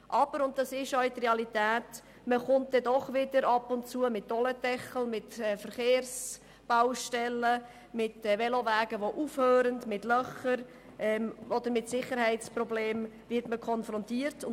Aber es ist auch eine Realität, dass man doch ab und zu mit Dolendeckeln, Verkehrsbaustellen, Velowegen, die aufhören, Löchern oder Sicherheitsproblemen konfrontiert wird.